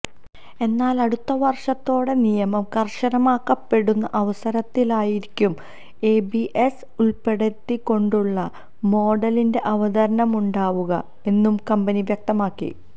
എന്നാൽ അടുത്ത വർഷത്തോടെ നിയമം കർശനമാക്കപ്പെടുന്ന അവസരത്തിലായിരിക്കും എബിഎസ് ഉൾപ്പെടുത്തികൊണ്ടുള്ള മോഡലിന്റെ അവതരണമുണ്ടാവുക എന്നും കമ്പനി വ്യക്തമാക്കി